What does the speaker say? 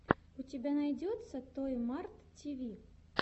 у тебя найдется той март ти ви